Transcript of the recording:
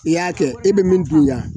I y'a kɛ i bɛ min dun yan